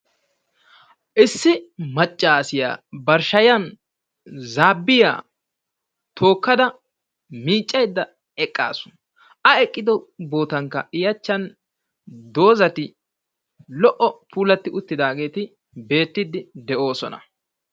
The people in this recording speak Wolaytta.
Issi maccaassiyaa bari shayan zaabbiya tookkada miiccayda eqqaasu. A eqqiddo boottanikka i achchan doozati lo"o puuti uttidaageeti beettiidi de"oosona.